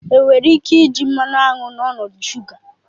Enwere ike iji mmanụ aṅụ n'ọnọdụ shuga?